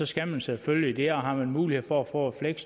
skal man selvfølgelig det og har man mulighed for at få et